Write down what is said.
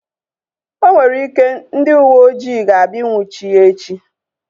O nwere ike, ndị uwe ojii ga-abịa nnwuchie ya echi